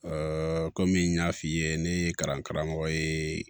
komi n y'a f'i ye ne ye kalan karamɔgɔ ye